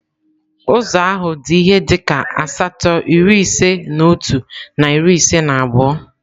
Ụzọ ahụ dị ihe dịka asatọ iri ise na otu na iri ise na abụọ.